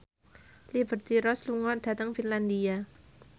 Liberty Ross lunga dhateng Finlandia